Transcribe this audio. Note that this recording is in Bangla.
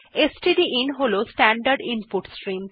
স্টডিন হল স্ট্যান্ডার্ড ইনপুট স্ট্রিম